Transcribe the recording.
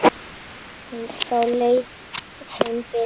Þá leið þeim betur